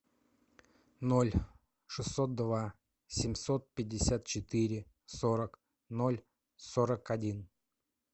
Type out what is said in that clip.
ноль шестьсот два семьсот пятьдесят четыре сорок ноль сорок один